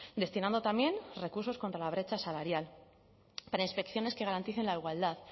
destinando también recursos contra la brecha salarial para inspecciones que garanticen la igualdad